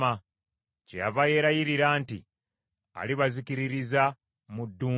Kyeyava yeerayirira nti alibazikiririza mu ddungu,